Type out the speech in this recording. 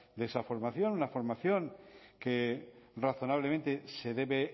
de esa formación una formación que razonablemente se debe